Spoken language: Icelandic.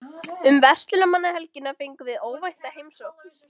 Um verslunarmannahelgina fengum við óvænta heimsókn.